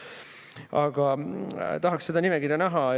Aga tahaksin seda nimekirja näha.